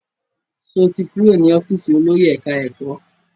Sọ ti kúrò ní ọ́fíìsì olórí ẹ̀ká-ẹ̀kọ́?